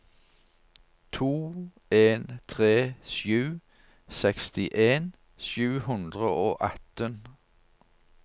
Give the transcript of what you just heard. to en tre sju sekstien sju hundre og atten